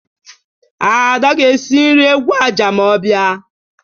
Ada ga-esi nri egwu aja ma ọ bịa.